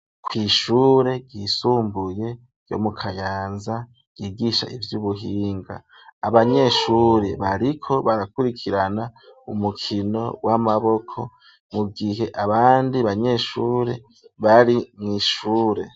kw'ishure ryisumbuye, ryo mu Kayanza, ryigisha ivy'ubuhinga; abanyeshure, bariko barakurikirana, umukino w'amaboko, mu gihe, abandi banyeshure, bari mw'ishure.